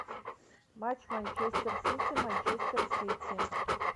матч манчестер сити манчестер сити